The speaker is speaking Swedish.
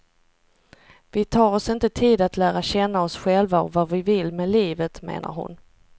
Vi tar oss inte tid att lära känna oss själva och vad vi vill med livet, menar hon.